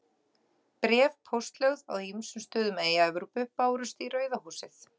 Bréf póstlögð á ýmsum stöðum í Evrópu bárust í Rauða húsið.